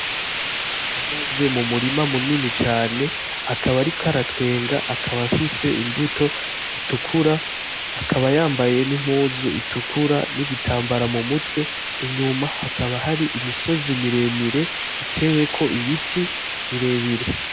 Ahagaze mumurima munini cane akaba ariko aratwenga akaba afise imbuto zitukura akaba yambaye n' impuzu itukura n' igitambara mumutwe, inyuma hakaba hari imisozi mire mire iteweko ibiti bire bire.